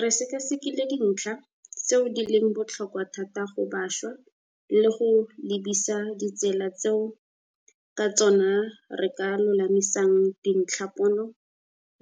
Re sekasekile dintlha tseo di leng botlhokwa thata go bašwa le go lebisisa ditsela tseo ka tsona re ka lolamisang dintlhapono